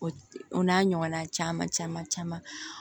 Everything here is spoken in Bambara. O o n'a ɲɔgɔnna caman caman caman